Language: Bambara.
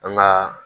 An ga